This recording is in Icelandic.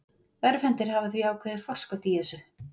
Örvhentir hafa því ákveðið forskot í þessu.